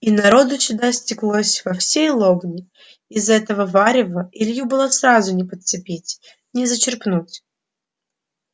и народу сюда стеклось со всей лобни из этого варева илью было сразу не подцепить не зачерпнуть